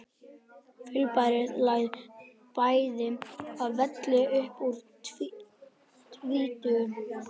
Fyrirbærið lagði bæði að velli upp úr tvítugu.